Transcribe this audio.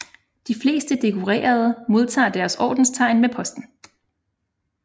De fleste dekorerede modtager deres ordenstegn med posten